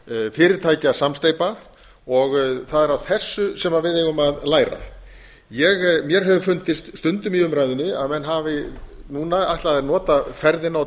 fyrirtækjasamsteypa og það er af þessu sem við eigum að læra mér hefur fundist stundum í umræðunni að menn hafi núna ætlað að nota ferðina og